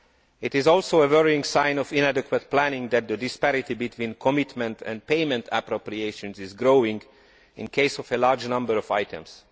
It is also a worrying sign of inadequate planning that the disparity between commitment and payment appropriations is growing in the case of a large number of items.